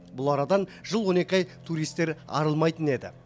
бұл арадан жыл он екі ай туристер арылмайтын еді